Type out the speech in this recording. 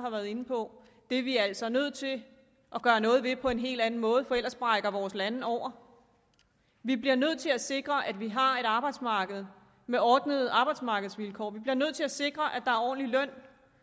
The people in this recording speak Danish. har været inde på det er vi altså nødt til at gøre noget ved på en helt anden måde for ellers brækker vores lande over vi bliver nødt til at sikre at vi har et arbejdsmarked med ordnede arbejdsmarkedsvilkår vi bliver nødt til at sikre at ordentlig løn